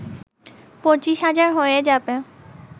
পঁচিশ হাজার হয়ে যাবে